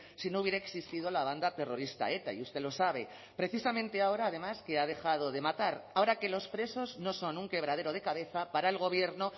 si no hubiera existido la banda terrorista eta y usted lo sabe precisamente ahora además que ha dejado de matar ahora que los presos no son un quebradero de cabeza para el gobierno